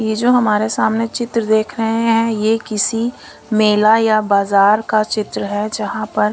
ये जो हमारे सामने चित्र देख रहे हैं ये किसी मेला या बाजार का चित्र है जहां पर--